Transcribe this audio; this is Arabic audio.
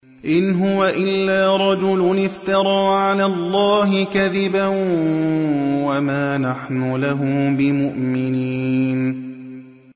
إِنْ هُوَ إِلَّا رَجُلٌ افْتَرَىٰ عَلَى اللَّهِ كَذِبًا وَمَا نَحْنُ لَهُ بِمُؤْمِنِينَ